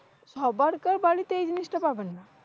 সবার তো বাড়িতেই জিনিসটা পাবেন না।